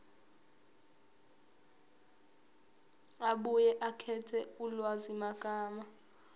abuye akhethe ulwazimagama